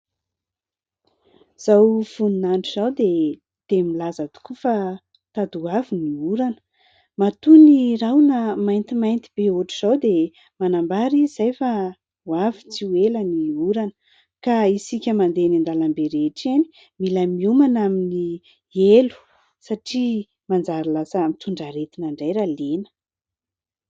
Izao voninandro izao dia milaza tokoa fa tady ho avy ny orana. Matoa ny rahona maintimainty be ohatra izao dia manambara izy izay fa ho avy tsy ho ela ny orana ka isika mandeha ny an-dalambe rehetra eny mila miomana amin'ny elo satria manjary lasa mitondra aretina indray raha lena.